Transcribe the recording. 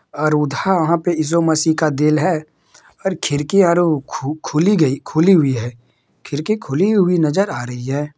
और उधा यहाँ पे इसु मसि का गिल है और खिड़कियां खू- खुली गई खुली हुई है। खिड़की खुली हुई नजर आ रही है।